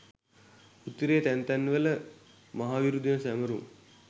උතුරේ තැන් තැන් වල මහවිරු දින සැමරුම්